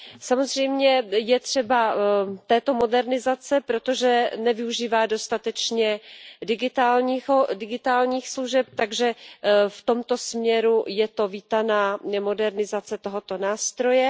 Samozřejmě je třeba této modernizace, protože nevyužívá dostatečně digitálních služeb, takže v tomto směru je to vítaná modernizace tohoto nástroje.